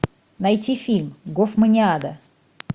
найти фильм гофманиада